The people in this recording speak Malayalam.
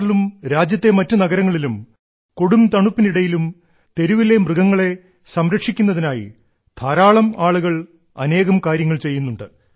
ആറിലും രാജ്യത്തെ മറ്റു നഗരങ്ങളിലും കൊടും തണുപ്പിനിടയിലും തെരുവിലെ മൃഗങ്ങളെ സംരക്ഷിക്കുന്നതിനായി ധാരാളം ആളുകൾ അനേകം കാര്യങ്ങൾ ചെയ്യുന്നുണ്ട്